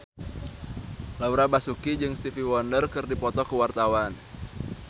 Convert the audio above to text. Laura Basuki jeung Stevie Wonder keur dipoto ku wartawan